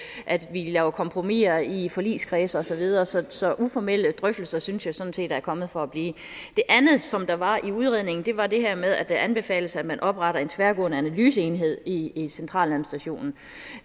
vi laver kompromisser i i forligskredse og så videre så så uformelle drøftelser synes jeg sådan set er kommet for at blive det andet som der var i udredningen var det her med at det anbefales at man opretter en tværgående analyseenhed i i centraladministrationen